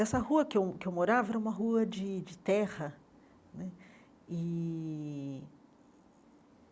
Essa rua que eu que eu morava era uma rua de de terra né. E